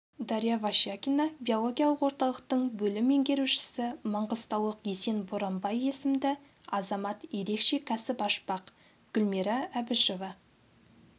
дарья вощакина биологиялық орталықтың бөлім меңгерушісі маңғыстаулық есен боранбай есімді азамат ерекше кәсіп ашпақ гүлмира әбішева